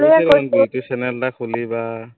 YouTube channel এটা খুলিবা